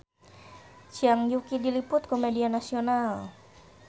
Zhang Yuqi diliput ku media nasional